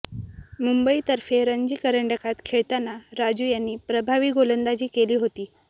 मुंबईतर्फे रणजी करंडकात खेळताना राजू यांनी प्रभावी गोलंदाजी केली होती